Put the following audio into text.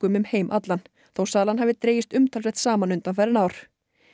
um heim allan þó sala hafi dregist umtalsvert saman undanfarin ár